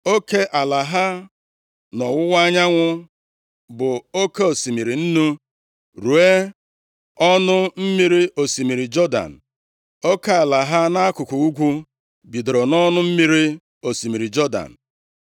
Oke ala ha nʼọwụwa anyanwụ bụ oke osimiri Nnu, ruo nʼọnụ mmiri osimiri Jọdan. Oke ala ha nʼakụkụ ugwu bidoro nʼọnụ mmiri osimiri Jọdan,